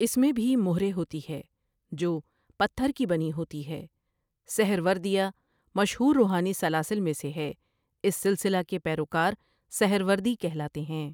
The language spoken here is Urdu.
اس میں بھی مہرے ہوتی ہے جو پتھر کی بنی ہوتی ہے سہروردیہ مشہور روحانی سلاسل میں سے ہے اس سلسلہ کے پیروکار سہروردی کہلاتے ہیں۔